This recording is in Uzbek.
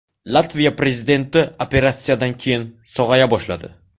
Latviya prezidenti operatsiyadan keyin sog‘aya boshladi.